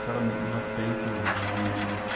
era mil novecentos e (som de sibilante)